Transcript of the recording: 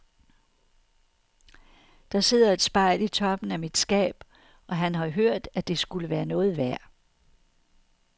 Der sidder et spejl i toppen af mit skab, og han har hørt at det skulle være noget værd.